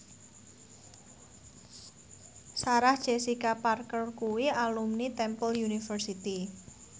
Sarah Jessica Parker kuwi alumni Temple University